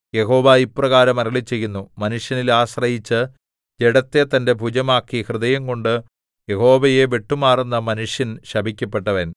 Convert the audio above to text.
യഹോവ ഇപ്രകാരം അരുളിച്ചെയ്യുന്നു മനുഷ്യനിൽ ആശ്രയിച്ച് ജഡത്തെ തന്റെ ഭുജമാക്കി ഹൃദയംകൊണ്ട് യഹോവയെ വിട്ടുമാറുന്ന മനുഷ്യൻ ശപിക്കപ്പെട്ടവൻ